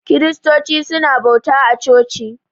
Kiristoci su na bauta a coci